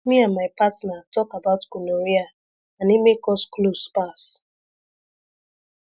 me and my partner talk about gonorrhea and e make us close pass